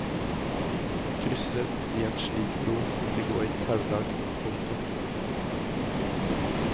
Krysser de en slik bro vil de gå i taulag. punktum